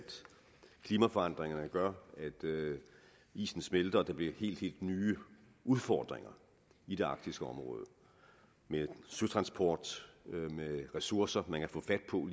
klimaforandringerne gør at isen smelter og at der bliver helt helt nye udfordringer i det arktiske område med søtransport med ressourcer man kan få fat på